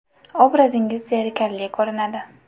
Obrazingiz zerikarli ko‘rinadi.